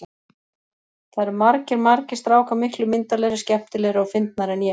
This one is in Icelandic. Það eru margir, margir strákar miklu myndarlegri, skemmtilegri og fyndnari en ég.